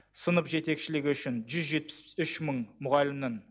сынып жетекшілігі үшін жүз жетпіс үш мың мұғалімнің